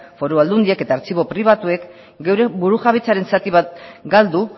foru aldundiek eta artxibo pribatuek geure burujabetzaren zati bat galdu